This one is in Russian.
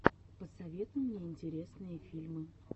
посоветуй мне интересные фильмы